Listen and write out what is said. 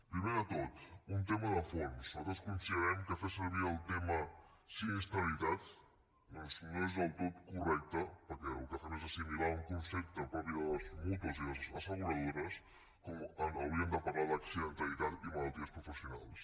primer de tot un tema de fons nosaltres considerem que fer servir el terme sinistralitat doncs no és del tot correcte perquè el que fem és assimilar un concepte propi de les mútues i de les asseguradores quan hauríem de parlar d’accidentalitat i malalties professionals